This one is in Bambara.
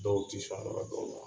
Dɔw ti